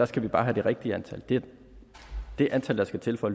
skal vi bare have det rigtige antal nemlig det antal der skal til for